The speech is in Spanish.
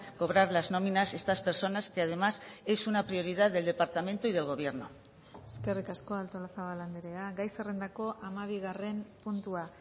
cobrar las nóminas estas personas que además es una prioridad del departamento y del gobierno eskerrik asko artolazabal andrea gai zerrendako hamabigarren puntua